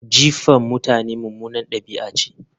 Jifa mutane mummunar ɗabi'a ce